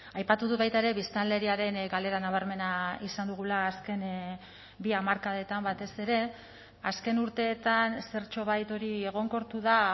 aipatu dut baita ere biztanleriaren galera nabarmena izan dugula azken bi hamarkadetan batez ere azken urteetan zertxobait hori egonkortu da